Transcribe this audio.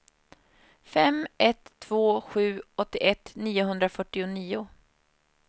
fem ett två sju åttioett niohundrafyrtionio